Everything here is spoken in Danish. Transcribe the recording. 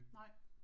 Nej